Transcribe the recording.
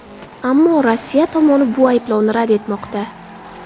Ammo Rossiya tomoni bu ayblovni rad etmoqda.